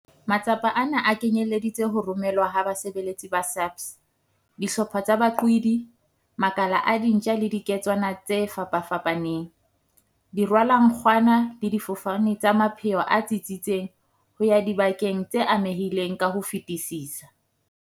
Matsapa ana a kenyeleditse ho romelwa ha basebeletsi ba SAPS, dihlopha tsa baqwedi, makala a dintja le diketswana tse fapafapaneng, dirwalankgwana le difofane tsa mapheo a tsitsitseng ho ya dibakeng tse amehileng ka ho fetisisa.